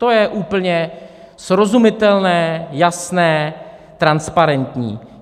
To je úplně srozumitelné, jasné, transparentní.